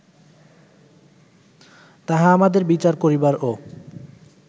তাহা আমাদের বিচার করিবারও